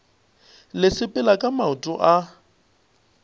le sepela ka maoto a